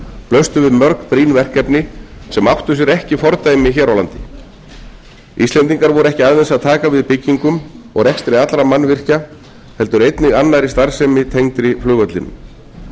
blöstu við mörg brýn verkefni sem áttu sér ekki fordæmi hér á landi íslendingar voru ekki aðeins að taka við byggingu og rekstri allra mannvirkja heldur einnig annarri starfsemi tengdri flugvellinum